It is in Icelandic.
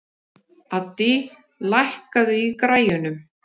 Addý, lækkaðu í græjunum.